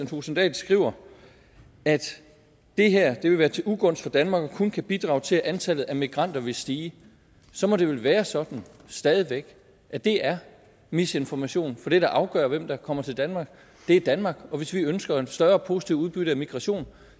thulesen dahl skriver at det her vil være til ugunst for danmark og kun kan bidrage til at antallet af migranter vil stige så må det vel være sådan stadig væk at det er misinformation for det der afgør hvem der kommer til danmark er danmark og hvis vi ønsker et større positivt udbytte af migration